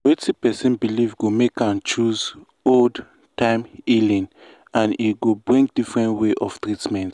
na wetin person believe go make am choose old-time healing and e go bring different way of treatment.